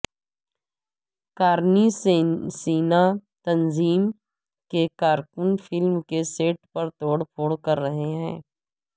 کارنی سینا تنظیم کے کارکن فلم کے سیٹ پر توڑ پھوڑ کر رہے ہیں